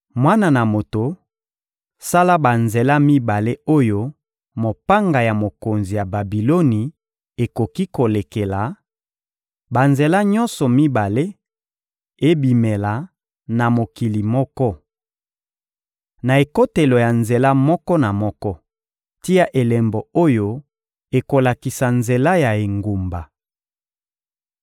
«Mwana na moto, sala banzela mibale oyo mopanga ya mokonzi ya Babiloni ekoki kolekela; banzela nyonso mibale ebimela na mokili moko. Na ekotelo ya nzela moko na moko, tia elembo oyo ekolakisa nzela ya engumba.